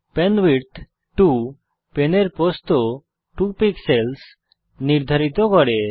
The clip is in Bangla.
পেনভিডথ 2 পেনের প্রস্থ 2 পিক্সেলস নির্ধারিত করে